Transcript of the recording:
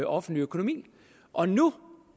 offentlig økonomi og nu